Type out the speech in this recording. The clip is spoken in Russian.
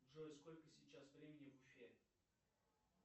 джой сколько сейчас времени в уфе